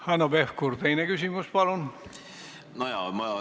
Hanno Pevkur, teine küsimus, palun!